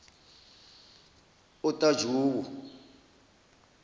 otajowo